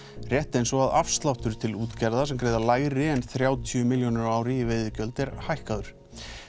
rétt eins og að afsláttur til útgerða sem greiða lægri en þrjátíu milljónir á ári er hækkaður